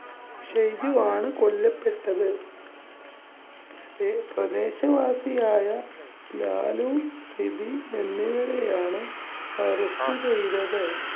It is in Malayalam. ഷൈജുവാണ് കൊല്ലപ്പെട്ടത്. പ്രദേശവാസിയായ ലാലു, സിബി എന്നിവരെയാണ് arrest ചെയ്തത്.